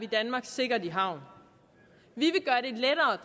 danmark sikkert i havn vi